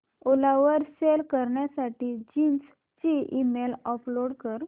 ओला वर सेल करण्यासाठी जीन्स ची इमेज अपलोड कर